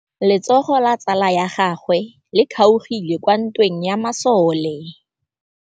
Letsôgô la tsala ya gagwe le kgaogile kwa ntweng ya masole.